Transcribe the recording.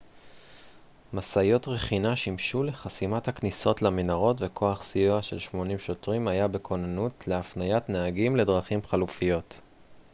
משאיות רכינה שימשו לחסימת הכניסות למנהרות וכוח סיוע של 80 שוטרים היה בכוננות להפניית נהגים לדרכים חלופיות